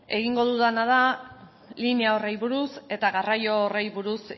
egingo dudana da linea horri buruz eta garraio horri buruz